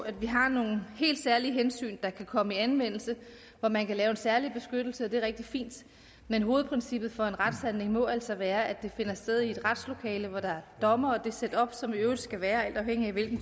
at vi har nogle helt særlige hensyn der kan komme i anvendelse hvor man kan lave en særlig beskyttelse og det er rigtig fint men hovedprincippet for en retshandling må altså være at det finder sted i et retslokale hvor der er dommere og det setup som der i øvrigt skal være alt afhængigt af hvilken